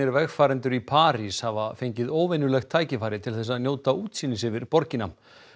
vegfarendur í París hafa fengið óvenjulegt tækifæri til þess að njóta útsýnis yfir borgina